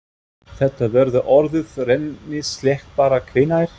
Þetta verður orðið rennislétt bara hvenær?